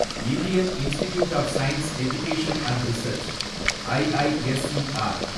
Indian institute of science education and research, IISER